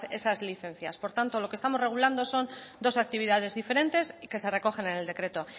esas licencias por tanto lo que estamos regulando son dos actividades diferentes que se recogen en el decreto